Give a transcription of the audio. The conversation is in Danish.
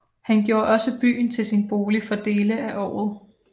Han gjorde også byen til sin bolig for dele af året